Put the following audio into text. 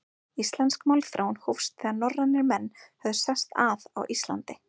Íslensk málþróun hófst, þegar norrænir menn höfðu sest að á Íslandi.